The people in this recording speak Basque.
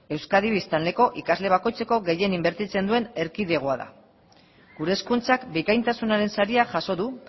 euskadi biztanleko ikasle bakoitzeko gehien inbertitzen duen erkidegoa da gure hezkuntzak bikaintasunaren saria jaso du